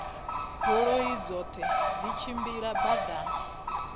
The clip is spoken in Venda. goloi dzoṱhe dzi tshimbilaho badani